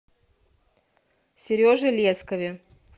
сереже лескове